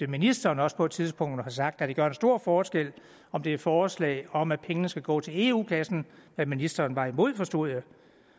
ministeren også på et tidspunkt har sagt at det gør en stor forskel om det er forslag om at pengene skal gå til eu kassen hvad ministeren var imod forstod jeg